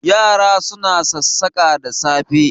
Yara suna sassaƙa da safe